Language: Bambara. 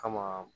Kama